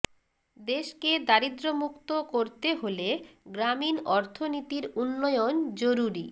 দেশকে দারিদ্র মুক্ত করতে হলে গ্রামীণ অর্থনীতির উন্নয়ন জরুরি